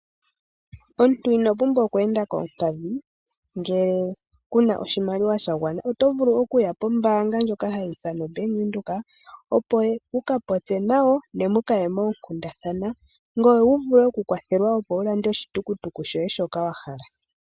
Omuntu ino pumbwa oku enda koompadhi, ngele kuna oshimaliwa sha gwana oto vulu okuya pombaanga ndjono hayi ithanwa oBank Windhoek , opo wuka popye nayo, ne muka ye moonkundathana, ngoye wu vule okukwathelwa opo wu lande oshitukutuku shoye shoka wa hala.